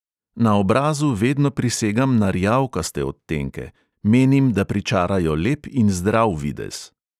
Na obrazu vedno prisegam na rjavkaste odtenke, menim, da pričarajo lep in zdrav videz.